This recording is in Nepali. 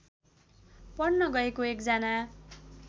पढ्न गएको एकजना